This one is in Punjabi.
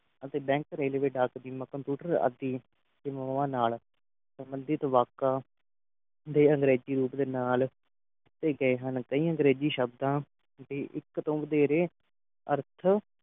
ਅਤੇ bank railway ਡਾਕ ਦੀ computer ਆਦਿ ਸੇਵਾਵਾਂ ਨਾਲ ਸੰਬੰਧਿਤ ਵਾਕਾ ਦੇ ਅੰਗਰੇਜ਼ੀ ਰੂਪ ਦੇ ਨਾਲ ਦਿੱਤੇ ਗਏ ਹਨ ਕਈ ਅੰਗਰੇਜ਼ੀ ਸ਼ਬਦਾਂ ਦੀ ਇਕ ਤੋ ਵਧੇਰੇ ਅਰਥ